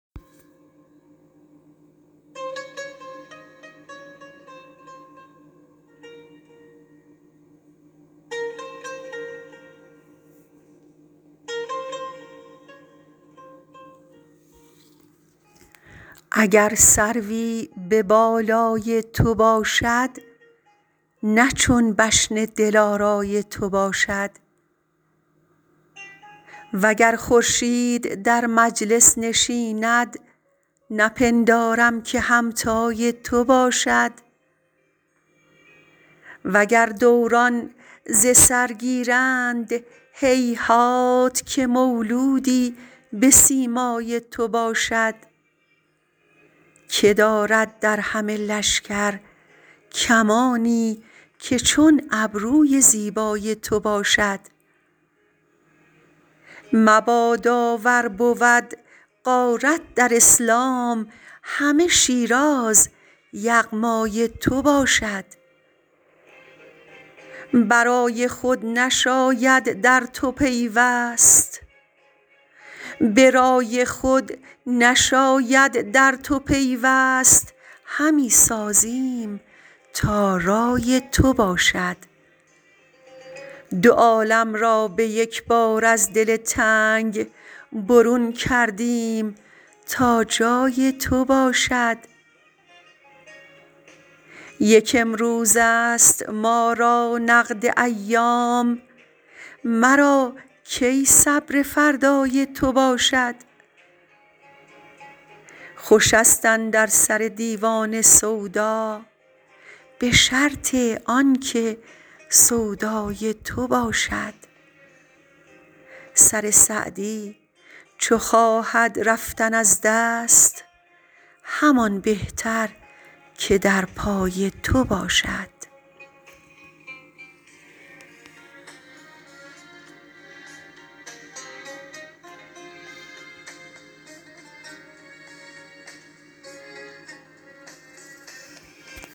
اگر سروی به بالای تو باشد نه چون بشن دلارای تو باشد و گر خورشید در مجلس نشیند نپندارم که همتای تو باشد و گر دوران ز سر گیرند هیهات که مولودی به سیمای تو باشد که دارد در همه لشکر کمانی که چون ابروی زیبای تو باشد مبادا ور بود غارت در اسلام همه شیراز یغمای تو باشد به رای خود نشاید در تو پیوست همی سازیم تا رای تو باشد دو عالم را به یک بار از دل تنگ برون کردیم تا جای تو باشد یک امروزست ما را نقد ایام مرا کی صبر فردای تو باشد خوشست اندر سر دیوانه سودا به شرط آن که سودای تو باشد سر سعدی چو خواهد رفتن از دست همان بهتر که در پای تو باشد